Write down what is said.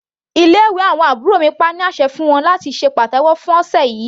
Ilé ìwé àbúrò mi pa á ní àṣẹ fún wọn láti ṣe pàtẹ́wọ́ fún ọ̀sẹ̀ yìí.